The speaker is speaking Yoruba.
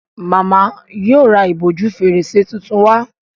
Màmá yíò rá ìbòjú Fèrèsé títún wá.